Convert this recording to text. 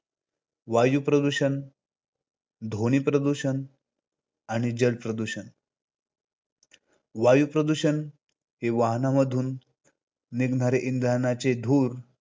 वायू प्रदूषण, ध्वनि प्रदूषण आणि जल प्रदूषण. वायुप्रदूषण हे वाहनांमधून निघणारे इंधनाचे धूर,